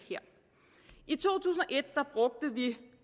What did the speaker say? i to tusind og et brugte vi